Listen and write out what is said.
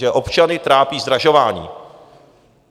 Že občany trápí zdražování.